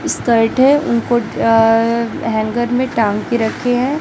Shirt हैं उनको hanger में टांग के रखे है।